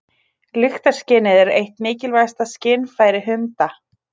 Lyktarskynið er eitt mikilvægasta skynfæri hunda.